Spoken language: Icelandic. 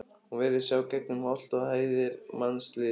Hún virtist sjá gegnum holt og hæðir mannlífsins.